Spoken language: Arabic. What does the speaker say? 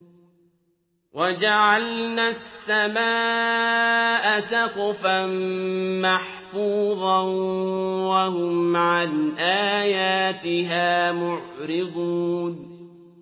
وَجَعَلْنَا السَّمَاءَ سَقْفًا مَّحْفُوظًا ۖ وَهُمْ عَنْ آيَاتِهَا مُعْرِضُونَ